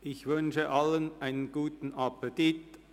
Ich wünsche allen einen guten Appetit.